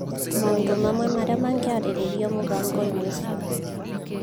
Maũndũ mamwe marĩa mangĩarĩrĩrio mũbango-inĩ ũcio